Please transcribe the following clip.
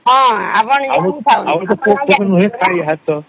ହଁଁ ଆମର ସବୁ ସାର